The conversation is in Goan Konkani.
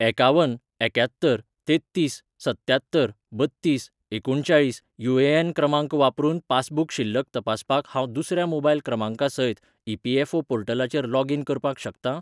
एकावन एक्यात्तर तेत्तीस सत्त्यात्तर बत्तीस एकुणचाळीस यू.ए.एन. क्रमांक वापरून पासबुक शिल्लक तपासपाक हांव दुसऱ्या मोबायल क्रमांका सयत ई.पी.एफ.ओ. पोर्टलाचेर लॉगीन करपाक शकतां ?